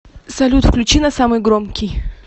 салют включи на самый громкий